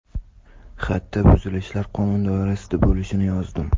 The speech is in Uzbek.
Xatda buzilishlar qonun doirasida bo‘lishini yozdim.